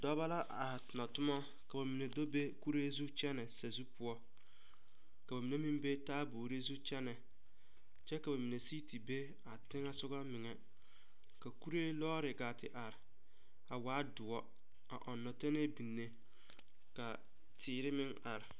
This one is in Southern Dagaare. Dɔba la are tona toma ka ba do be kuree zu kyɛnɛ sazu poɔ ka ba mine meŋ be taaboore zu kyɛnɛ kyɛ ka ba mine sigi te be a teŋɛ soga meŋɛ ka kuree lɔɔre gaa te are a waa doɔre a ɔŋna tɛnɛɛ biŋne ka teere meŋ are.